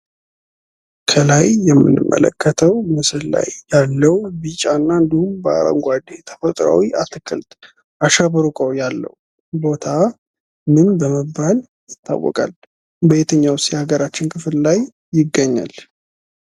ከላይ የምንመለከተው ምስል ላይ ያለው ቢጫ እና እንዲሁም በአረንጕዴ ተፈጥሯዊ አትክልት አሸብርቆ ያለው ቦታ ምን በመባል ይታወቃል? በየትኛውስ የሀገራችን ክፍል ይገኛል?